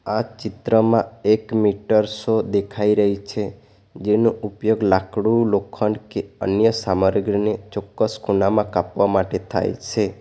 આ ચિત્રમાં એક મીટર સો દેખાઈ રહી છે જેનો ઉપયોગ લાકડું લોખંડ કે અન્ય સામરગ્રીને ચોક્કસ ખૂનામાં કાપવા માટે થાય છે.